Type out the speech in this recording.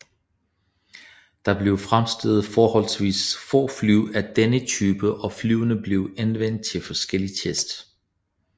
Der blev fremstillet forholdsvist få fly af denne type og flyene blev anvendt til forskellige tests